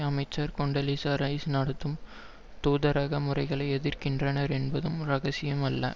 அமைச்சர் Condoleezza Rice நடத்தும் தூதரக முறைகளை எதிர்க்கின்றனர் என்பதும் இரகசியம் அல்ல